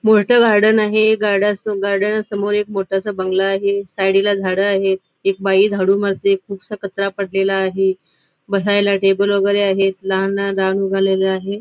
मोठ गार्डन आहे गार्डन स गार्डना समोर एक मोठासा बंगला आहे साइडी ला झाड आहेत एक बाई झाडू मारते खुपसा कचरा पडलेला आहे बसायला टेबल वगैरे आहे लहान लहान रान उगलेल आहे.